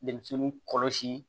Denmisɛnw kɔlɔsi